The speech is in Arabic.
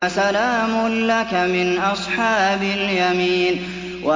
فَسَلَامٌ لَّكَ مِنْ أَصْحَابِ الْيَمِينِ